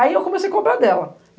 Aí eu comecei a cobrar dela.